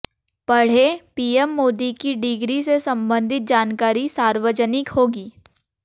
पढ़ेंः PM Modi की degree से संबंधित जानकारी सार्वजनिक होगी